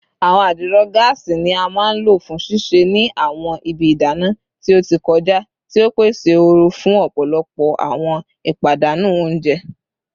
Awọn adiro gaasi ni a maa n lo fun sise ni awọn ibi idana ti o ti kọja, ti o pese ooru fun ọpọlọpọ awọn ipadanu ounjẹ